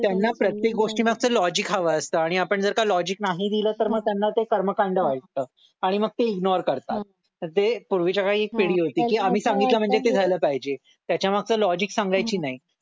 त्यांना प्रत्येक गोष्टी मागचं लॉजिक हवं असतं आणि आपण जर का लॉजिक नाही दिल तर त्यांना मग ते कर्मकांड वाटतं आणि मग ते इग्नोर करतात तर ते पूर्वीच्या काळी एक पिढी होती की आम्ही सांगितलं म्हणजे ते झालं पाहिजे त्याच्या मागचं लॉजिक सांगायचे नाही